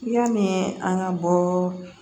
Yanni an ka bɔ